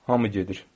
Hamı gedir.